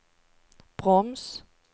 broms